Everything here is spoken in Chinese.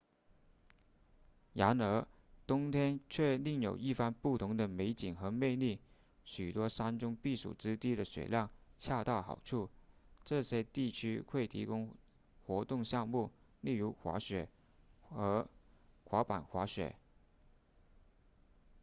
然而冬天却另有一番不同的美景和魅力许多山中避暑之地的雪量恰到好处这些地方会提供活动项目例如滑雪和滑板滑雪